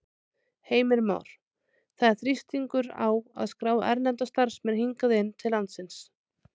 Heimir Már: Það er þrýstingur á að skrá erlenda starfsmenn hingað inn til landsins?